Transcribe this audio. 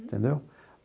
Entendeu?